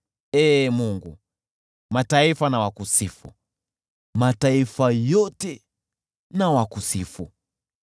Ee Mungu, mataifa na wakusifu, mataifa yote na wakusifu.